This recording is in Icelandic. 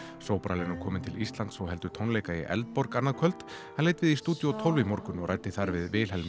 sobral er nú kominn til Íslands og heldur tónleika í Eldborg annað kvöld hann leit við í stúdíó tólf í morgun og ræddi þar við Vilhelm